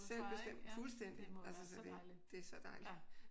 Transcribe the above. Selv bestemme. Fuldstændig. Altså så det det er så dejligt